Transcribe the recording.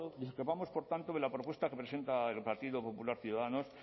discrepamos por tanto de la propuesta que presenta el partido popular ciudadanos